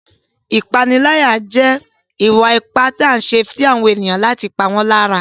Ìpániláyà jẹ́ ìwà ipá tí a ń ṣe sí ènìyàn láti pa wọ́n lára.